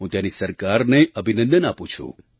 હું ત્યાંની સરકારને અભિનંદન આપું છું